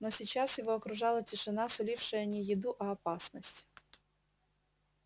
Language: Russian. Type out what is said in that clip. но сейчас его окружала тишина сулившая не еду а опасность